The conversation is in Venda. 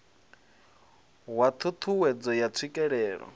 wa ṱhu ṱhuwedzo ya tswikelelo